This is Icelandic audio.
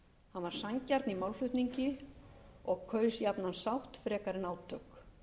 var sanngjarn í málflutningi og kaus jafnan sátt frekar en átök